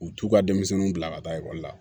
U t'u ka denmisɛnninw bila ka taa ekɔli la